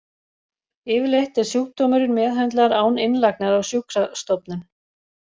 Yfirleitt er sjúkdómurinn meðhöndlaður án innlagnar á sjúkrastofnun.